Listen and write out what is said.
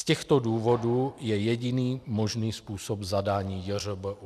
Z těchto důvodů je jediný možný způsob zadání JŘBÚ.